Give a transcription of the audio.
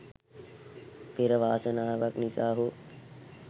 පෙර වාසනාවක් නිසා හෝ